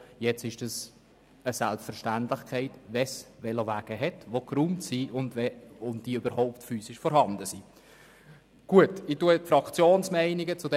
Nun ist das eine Selbstverständlichkeit, wenn es Velowege gibt und diese auch geräumt sind.